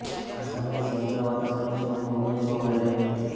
આ સમયે સમગ્ર વાતાવરણ શોક મગ્ન જોવા મળી રહ્યું હતું